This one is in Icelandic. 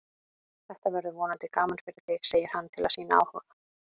Þetta verður vonandi gaman fyrir þig, segir hann til að sýna áhuga.